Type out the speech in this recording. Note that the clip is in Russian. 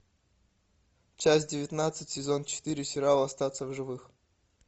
часть девятнадцать сезон четыре сериал остаться в живых